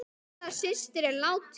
Stella systir er látin.